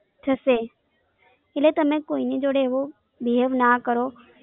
થશે એટલે તમે કોઈને જોડે એવો બી હવે ના કરો